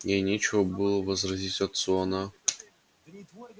ей нечего было возразить отцу она